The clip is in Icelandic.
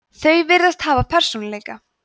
þau virðast hafa persónuleika